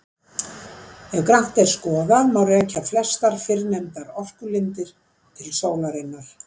Ef grannt er skoðað má rekja flestar fyrrnefndar orkulindir til sólarinnar.